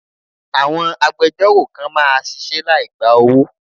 Àwọn agbejọ́rò kan máa ṣisẹ́ láì gba owó.